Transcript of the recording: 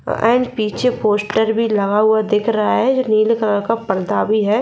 और पीछे पोस्ट में लगा हुआ दिख रहा है जो नील कलर का पर्दा भी है।